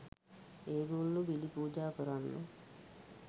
ඒගොල්ලෝ බිලි පූජා කරන්න